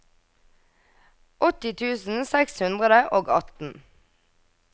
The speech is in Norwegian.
åtti tusen seks hundre og atten